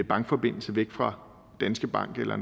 bankforbindelse væk fra danske bank eller